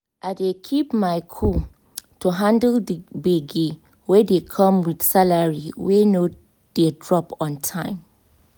i dey keep my cool to handle the gbege wey dey come with salary wey no dey drop on time.